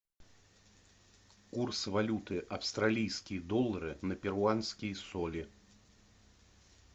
курс валюты австралийские доллары на перуанские соли